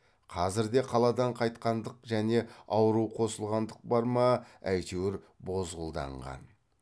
қазір де қаладан қайтқандық және ауру қосылғандық бар ма әйтеуір бозғылданған